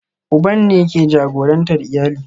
Uban ne ke jagorantar iyali